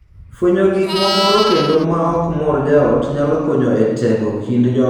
Fwenyo gik mamoro kendo ma ok mor jaot nyalo konyo e tego kind joot.